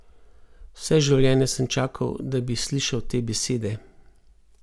Vse življenje sem čakal, da bi slišal te besede.